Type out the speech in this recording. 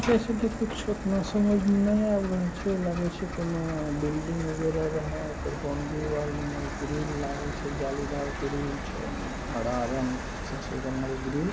देखे के कुछ इतना समझ में नही आ रहल छै। लागय छै कोनो बिल्डिंग वगेरा रहयओकर बाउंड्री वाल मे ग्रील लागल छै। जालीदार ग्रिल छै। हाड़ा रंग से छै रंगल ग्रील